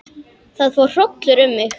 Það fór hrollur um mig.